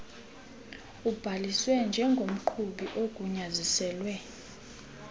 ubhaliswe njengomqhubi ogunyaziselwe